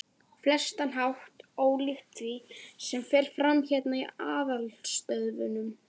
flestan hátt ólíkt því, sem fer fram hérna í aðalstöðvunum.